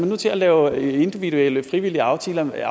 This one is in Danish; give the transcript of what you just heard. nu til at lave individuelle frivillige aftaler med